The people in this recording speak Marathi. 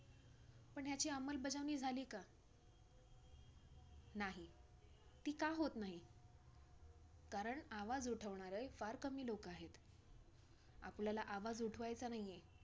आत आपला pizza झाला पाहिजे म्हणजे पाच मिनिटात आपला Pizza ready होऊन shoot वरती आला पाहिजे. जर तर नाही आला customer नाराज होतो सांगितलेलं असतं त्या time मध्ये pizza नाही दिला तर.